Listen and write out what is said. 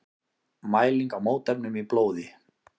Mæling á mótefnum í blóði.